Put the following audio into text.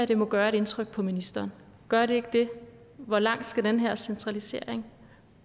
det må gøre indtryk på ministeren gør det ikke det hvor langt skal den her centralisering